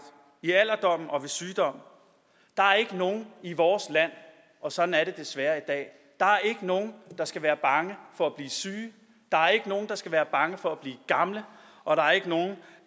i alderdommen og ved sygdom der er ikke nogen i vores land og sådan er det desværre i dag der skal være bange for at blive syge der er ikke nogen der skal være bange for at blive gamle og der er ikke nogen